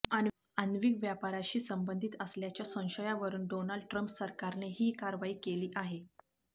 आण्विक व्यापाराशी संबंधित असल्याच्या संशयावरून डोनाल्ड ट्रम्प सरकारने ही कारवाई केली आहे